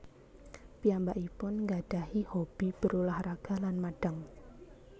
Piyambakipun ngggadahi hobi berulah raga lan madang